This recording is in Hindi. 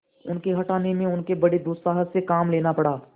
उनके हटाने में उन्हें बड़े दुस्साहस से काम लेना पड़ा